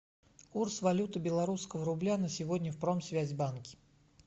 курс валюты белорусского рубля на сегодня в промсвязьбанке